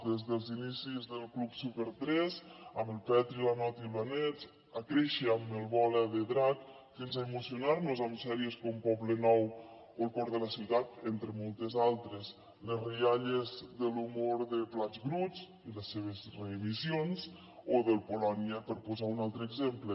des dels inicis del club super3 amb el petri la noti i la nets a créixer amb el bola de drac fins a emocionar nos amb sèries com poblenouentre moltes altres les rialles de l’humor de plats bruts i les seves reemissions o del polònia per posar un altre exemple